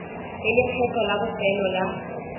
le lekgetho la bofelo la